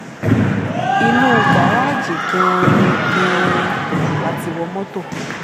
inú garaajì gan-an gan-an la ti wọ mọ́tò